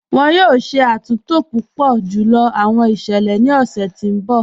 Wọn yọ̀ọ̀ ṣẹ̀ àtúntò púpọ̀ júlọ̀ awọn iṣẹlẹ̀ ni ọṣẹ̀ ti n bọ̀.